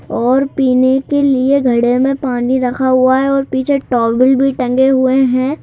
और पीने के लिए घड़े में पानी रखा हुआ है और पीछे टॉवल भी टंगे हुए हैं।